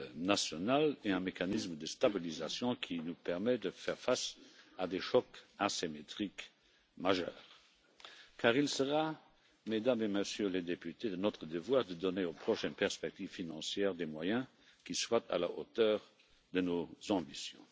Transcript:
nationales et un mécanisme de stabilisation qui nous permet de faire face à des chocs asymétriques majeurs car il sera, Mesdames et Messieurs les députés, de notre devoir de donner aux prochaines perspectives financières des moyens qui soient à la hauteur de nos ambitions.